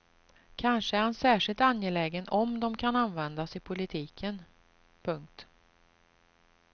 Kanske är han särskilt angelägen om de kan användas i politiken. punkt